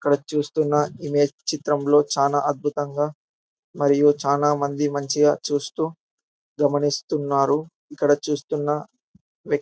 ఇక్కడ చూస్తున్న ఇమేజ్ చిత్రంలో చాల అద్భుతంగా మరియు చానా మంది మంచిగా చూస్తూ గమైంస్తున్నారు ఇక్కడ చూస్తున్న--